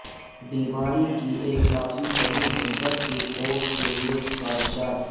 بیماری کی ایک کافی طویل مدت کے کورس کے لئے سفارشات